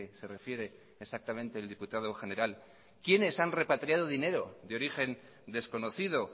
se refiere exactamente el diputado general quiénes han repatriado dinero de origen desconocido